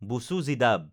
বুচু জিদাব